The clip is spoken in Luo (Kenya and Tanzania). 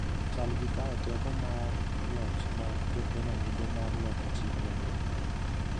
chal gi kawo teko mar loch ma Jo-Kenya nigo mar loko Chik Maduong’.